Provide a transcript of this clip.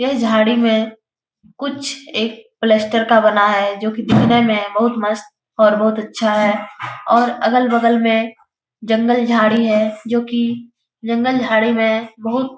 यह झड़ी में कुछ एक पलास्टर का बना है। जोकी दिखने में बहुत मस्त और बोहोत अच्छा है। और अलग-बगल में जंगल झड़ी है। जोकी जंगल झड़ी में बहुत--